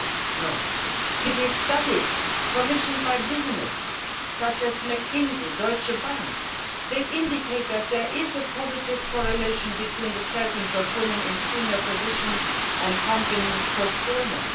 It is the answer from studies commissioned by businesses such as McKinsey and Deutsche Bank, indicating that there is a positive correlation between the presence of women in senior positions and company performance.